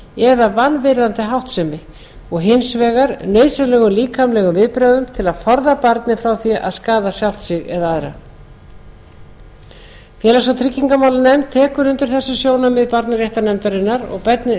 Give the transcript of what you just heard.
refsingu eða vanvirðandi háttsemi og hins vegar nauðsynlegum líkamlegum viðbrögðum til að forða barni frá því að skaða sjálft sig eða aðra félags og tryggingamálanefnd tekur undir þessi sjónarmið barnaréttarnefndarinnar og